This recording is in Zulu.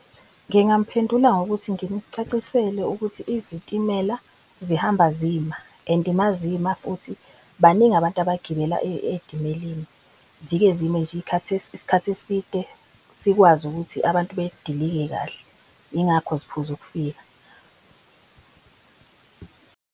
Ngingamphendula ngokuthi ngimcacisele ukuthi izitimela zihamba zima and mazima futhi baningi abantu abagibela etimeleni. Zike zime isikhathi eside sikwazi ukuthi abantu bedilike kahle, yingakho ziphuza ukufika.